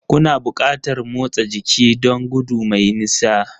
Kuna buƙatar motsa jiki don gudu mai nisa